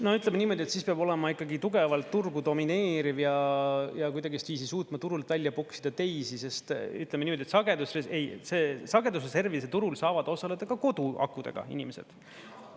No ütleme niimoodi, et siis peab olema ikkagi tugevalt turgu domineeriv ja kuidagistviisi suutma turult välja puksida teisi, sest ütleme niimoodi, et sagedustes … ei, sagedusreservide turul saavad osaleda ka koduakudega inimesed.